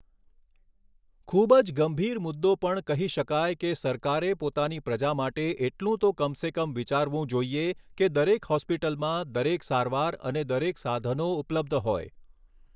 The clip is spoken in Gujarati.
ખૂબ જ ગંભીર મુદ્દો પણ કહી શકાય કે સરકારે પોતાની પ્રજા માટે એટલું તો કમ સે કમ વિચારવું જોઈએ કે દરેક હૉસ્પિટલમાં દરેક સારવાર અને દરેક સાધનો ઉપલબ્ધ હોય.